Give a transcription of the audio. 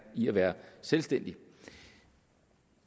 i at være selvstændig